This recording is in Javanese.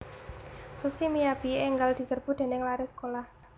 Sushi Miyabi enggal diserbu dening lare sekolah